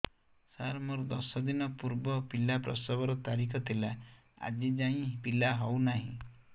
ସାର ମୋର ଦଶ ଦିନ ପୂର୍ବ ପିଲା ପ୍ରସଵ ର ତାରିଖ ଥିଲା ଆଜି ଯାଇଁ ପିଲା ହଉ ନାହିଁ